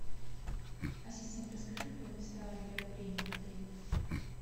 ассистент расскажи про места для курения в отеле